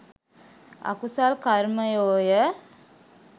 අකුසල් කර්මයෝ ය.